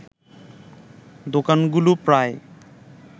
দোকানগুলো প্রায়